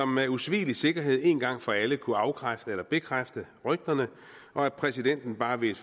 med usvigelig sikkerhed en gang for alle kunne afkræfte eller bekræfte rygterne og at præsidenten bare ved et